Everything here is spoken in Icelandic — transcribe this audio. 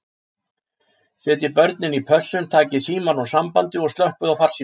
Setjið börnin í pössun, takið símann úr sambandi og slökkvið á farsímunum.